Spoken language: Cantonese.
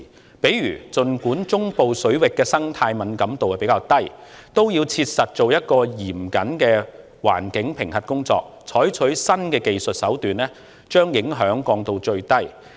舉例而言，儘管中部水域的生態敏感度較低，也要切實進行嚴謹的環境評核工作，採取新技術手段把影響降到最低。